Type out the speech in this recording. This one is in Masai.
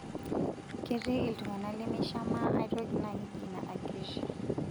Ketii iltungana lemeishamaa aitoki naa keji ina ageusia.